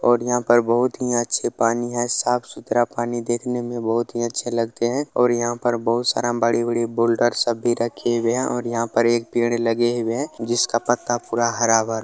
और यहाँ पे बहुत ही अच्छे पानी है साफ-सुथरा पानी देखने में बहुत ही अच्छे लगते हैं और यहाँ पे बहुत सारा बड़ी-बड़ी बोल्डर्स सब भी रखी हुए है और यहाँ पर एक पेड़ लगे हुए हैं जिसका पत्ता पूरा हरा-भरा --